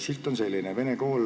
Silt on selline: "Vene kool.